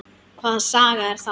Hvaða saga er það?